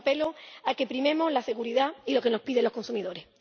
Y a eso apelo a que primemos la seguridad y lo que nos piden los consumidores.